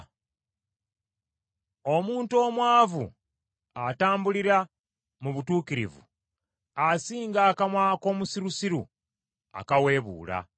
Omuntu omwavu atambulira mu butuukirivu, asinga akamwa ak’omusirusiru akaweebuula.